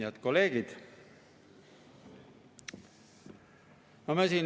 Head kolleegid!